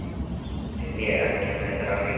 Nei, ég er ekki með þráhyggju.